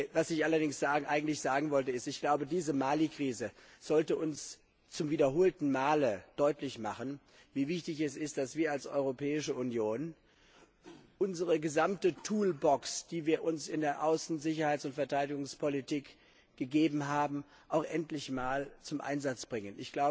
Was ich eigentlich sagen wollte Diese Mali Krise sollte uns zum wiederholten Male deutlich machen, wie wichtig es ist, dass wir als Europäische Union unsere gesamte Toolbox die wir uns in der Außen Sicherheits und Verteidigungspolitik gegeben haben, auch endlich einmal zum Einsatz bringen.